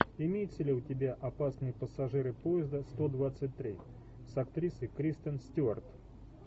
имеется ли у тебя опасные пассажиры поезда сто двадцать три с актрисой кристен стюарт